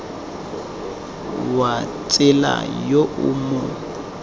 wa tsela yo o mo